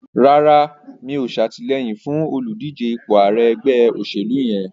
Rárá, mi ò ṣàtìlẹyìn fún olùdíje ipò ààrẹ ẹgbẹ́ òṣèlú yẹn.